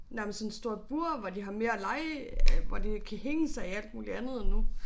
Nærmest sådan stort bur hvor de har mere lege øh hvor de kan hænge sig i alt muligt andet nu